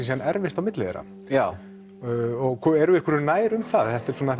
síðan erfist á milli þeirra já erum við einhverju nær um það þetta er svona